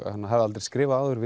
hafði aldrei skrifað áður